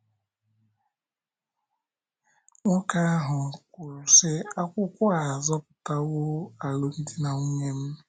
Nwoke ahụ kwuru, sị: “ akwụkwọ a azọpụtawo alụmdi na nwunye m! ”